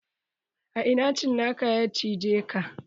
A ina cinakan ya cije ka?